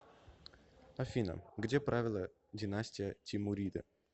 афина где правила династия тимуриды